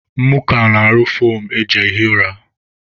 Mụọka na-arụ foomụ eji ehi ụra